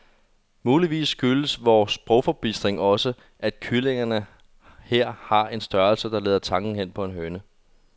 Muligvis skyldes vor sprogforbistring også, at kyllingerne her har en størrelse, der leder tanken hen på en høne.